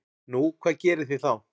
Nú, hvað gerið þið þá?